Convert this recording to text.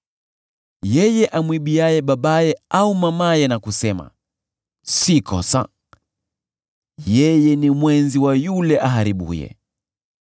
Yeye amwibiaye babaye au mamaye na kusema, “Si kosa,” yeye ni mwenzi wa yule aharibuye.